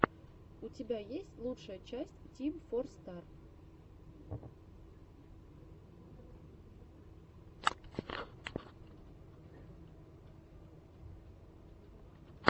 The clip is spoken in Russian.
у тебя есть лучшая часть тим фор стар